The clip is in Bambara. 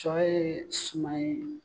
Cɔ ye suman ye